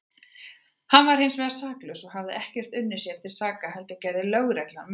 Hann var hinsvegar saklaus og hafði ekkert unnið sér til saka heldur gerði lögreglan mistök.